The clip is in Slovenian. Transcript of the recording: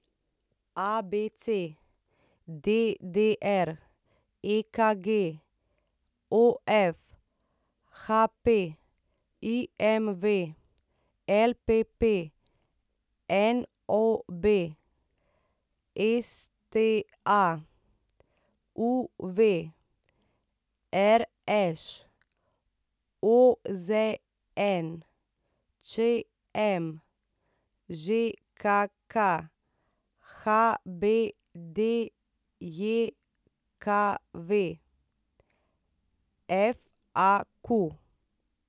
ABC, DDR, EKG, OF, HP, IMV, LPP, NOB, STA, UV, RŠ, OZN, ČM, ŽKK, HBDJKV, FAQ.